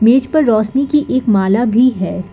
इस पर रोशनी की एक माला भी है।